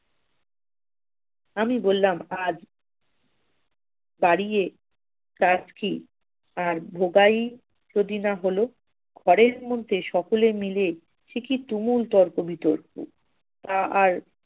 আমি বললাম আজ তাড়িয়ে কাজ কি আর হল ঘরের মধ্যে সকলে মিলে সে কি তুমুল তর্ক বিতর্ক! তা আর